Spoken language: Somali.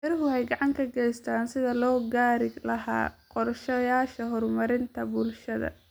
Beeruhu waxay gacan ka geystaan ??sidii loo gaari lahaa qorshayaasha horumarinta bulshada.